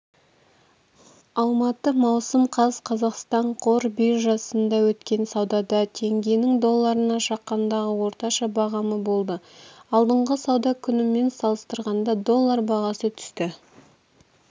алматы маусым қаз қазақстан қор биржасында өткен саудада теңгенің долларына шаққандағы орташа бағамы болды алдыңғы сауда күнімен салыстырғанда доллар бағасы түсті